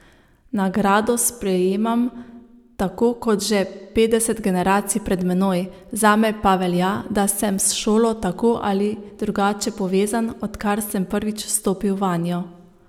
Nagrado sprejemam, tako kot že petdeset generacij pred menoj, zame pa velja, da sem s šolo tako ali drugače povezan, odkar sem prvič stopil vanjo.